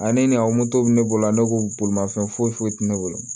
Ani a bɛ ne bolo ne ko bolimafɛn foyi foyi tɛ ne bolo